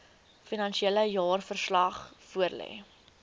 finansiële jaarverslag voorlê